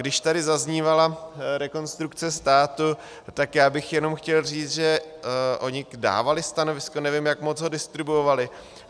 Když tady zaznívala Rekonstrukce státu, tak já bych jenom chtěl říct, že oni dávali stanovisko, nevím, jak moc ho distribuovali.